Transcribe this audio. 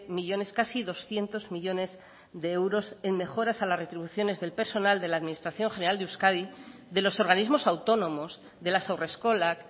millónes casi doscientos millónes de euros en mejora a las retribuciones del personal de la administración general de euskadi de los organismos autónomos de las haurreskolak